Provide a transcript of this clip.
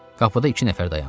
Qapıda iki nəfər dayandı.